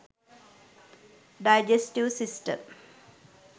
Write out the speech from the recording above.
digestive system